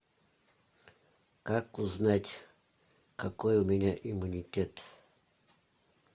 как узнать какой у меня иммунитет